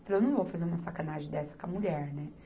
Falei, eu não vou fazer uma sacanagem dessa com a mulher, né?